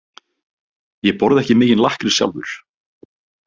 Ég borða ekki mikinn lakkrís sjálfur.